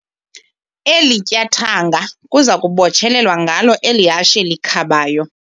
Eli tyathanga kuza kubotshelelwa ngalo eli hashe likhabayo.